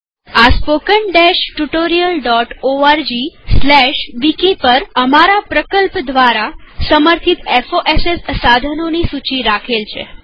આ spoken tutorialorgવિકી પરઅમારા પ્રકલ્પ દ્વારા સમર્થિત ફોસ સાધનોની સૂચી રાખેલ છે